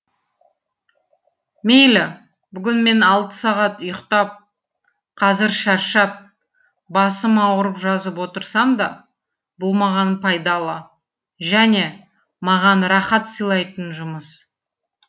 мейлі бүгін мен алты сағат ұйықтап қазір шаршап басым ауырып жазып отырсам да бұл маған пайдалы және маған рахат сыйлайтын жұмыс